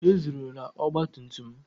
Ezuru ọgba tum tum m.